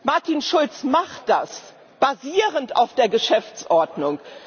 Martin Schulz macht das, basierend auf der Geschäftsordnung.